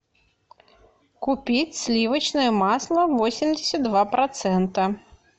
купить сливочное масло восемьдесят два процента